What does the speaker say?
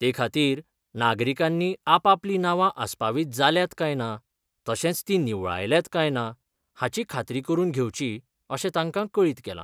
ते खातीर नागरीकांनी आपापली नावा आसपावीत जाल्यांत काय ना तशेंच तीं निवळायल्यांत काय ना हाची खात्री करून घेवची अशें तांकां कळीत केलां.